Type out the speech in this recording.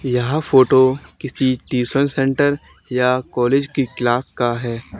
यह फोटो किसी tuition centre या कॉलेज की क्लास का है।